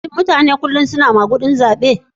Shin mutane kullum suna magudin zabe?